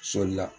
Soli la